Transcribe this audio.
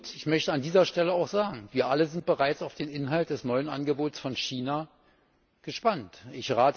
Ich möchte an dieser Stelle auch sagen, dass wir alle bereits auf den Inhalt des neuen Angebots von China gespannt sind.